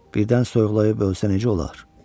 Birdən soyuqlayıb ölsə necə olar?